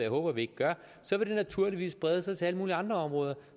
håber vi gør så vil det naturligvis brede sig til alle mulige andre områder